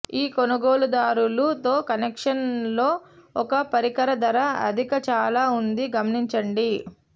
ఈ కొనుగోలుదారులు తో కనెక్షన్ లో ఒక పరికరం ధర అధిక చాలా ఉంది గమనించండి